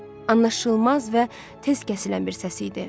Anlaşılmaz və tez kəsilən bir səs idi.